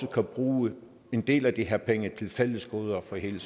kan bruge en del af de her penge til fælles goder for hele